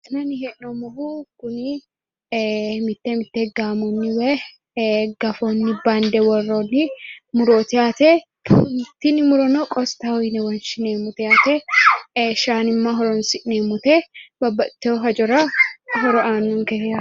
La'nanni hee'noommohu kuni mitte mitte gaamonni woyi gafonni bande worroonni murooti yaate tini murono qostaho woshshineemmote yaate shaanimma horonsi'neemmote babbaxxiteyo hajora horo aannonke yaate.